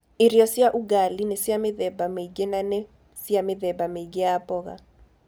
Irio cia Ugali nĩ cia mĩthemba mĩingĩ na nĩ cia mĩthemba mĩingĩ ya mboga.